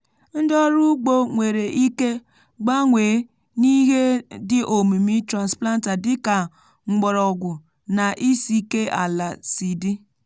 ndị ọrụ ugbo nwèrè ike gbanwe n’ihe dị omimi transplanter dị ka mgbọrọgwụ na isiike ala si dị.